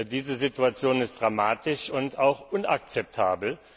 Diese Situation ist dramatisch und auch inakzeptabel.